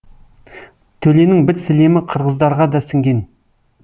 төленің бір сілемі қырғыздарға да сіңген